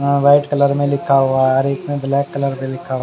हाँ white colour में लिखा हुआ हें और इसमें ब्लैक कलर भी लिखा हुआ हैं।